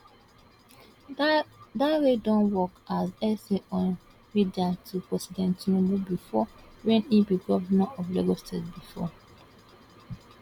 dare don work as sa on media to president tinubu bifor wen e be govnor of lagos state bifor